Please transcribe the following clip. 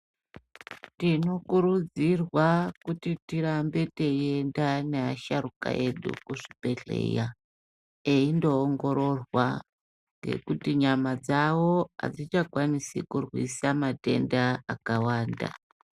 Tinokurudzirwa kuti tirambe tiienda neasharukwa edu kuzvibhedhlera eindoongororwa nekuti nyama dzavo hadzichakwanisi kurwisa matenda akawanda.